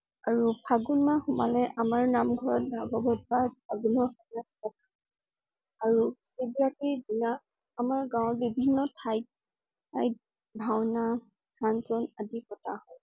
আৰু ফাগুন মাহ সোমালে আমাৰ নামঘৰত ভাগৱত পাঠ আৰম্ভ কৰা হয়। আৰু দিনা আমাৰ গাঁৱৰ বিভিন্ন ঠাইত~ঠাইত ভাওনা, function আদি পতা হয়